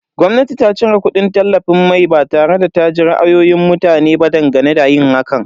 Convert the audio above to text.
Gwamnati ta cire kudin tallafin mai ba tare da ta ji ra'ayoyin mutane ba dangane da yin hakan.